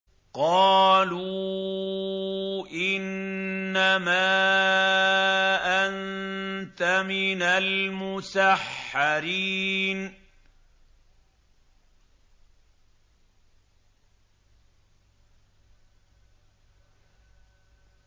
قَالُوا إِنَّمَا أَنتَ مِنَ الْمُسَحَّرِينَ